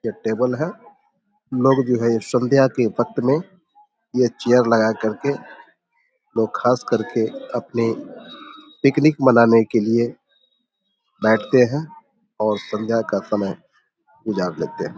ये टेबल है लोग जो है ये संध्या के वक्त मे ये चेयर लगा करके लोग खास करके अपने पिकनिक मनाने के लिए बैठते है और संध्या का समय गुजार लेते हैं।